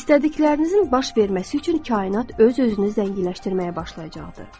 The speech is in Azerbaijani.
İstədiklərinizin baş verməsi üçün kainat öz-özünü zənginləşdirməyə başlayacaqdır.